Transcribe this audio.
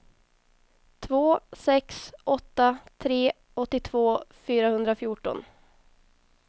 två sex åtta tre åttiotvå fyrahundrafjorton